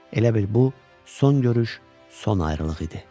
Elə bil bu son görüş, son ayrılıq idi.